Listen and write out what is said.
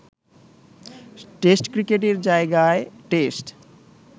test ক্রিকেটের জায়গায় test